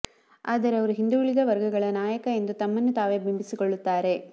ಆದರೆ ಅವರು ಹಿಂದುಳಿದ ವರ್ಗಗಳ ನಾಯಕ ಎಂದು ತಮ್ಮನ್ನು ತಾವೇ ಬಿಂಬಿಸಿಕೊಳ್ಳುತ್ತಾರೆ